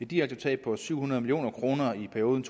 direkte tab på syv hundrede million kroner i perioden